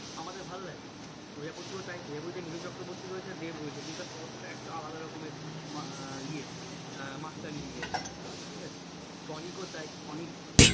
আমাদের ভালো লাগে প্রজাপতি ও তাই প্রজাপতিতে মিঠুন চক্রবর্তী রয়েছে দেব রয়েছে কিন্তু তার গল্পটা একটু আলাদা রকমের মা আহ ইয়ে আহ মাত্রা নিয়ে নিয়েছে ঠিক আছে? টনিক ও তাই টনিক